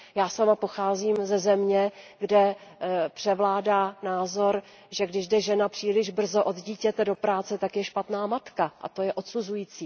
Já sama pocházím ze země, kde převládá názor, že když jde žena příliš brzo od dítěte do práce, tak je špatná matka, a to je odsuzující.